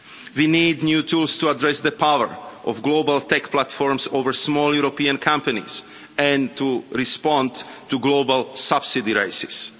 We need new tools to address the power of global tech platforms over small European companies and to respond to global subsidy races.